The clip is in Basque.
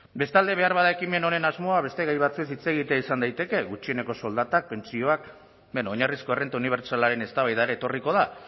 bestalde beharbada ekimen honen asmoa beste gai batzuez hitz egitea izan daiteke gutxieneko soldatak pentsioak beno oinarrizko errenta unibertsalaren eztabaidara etorriko da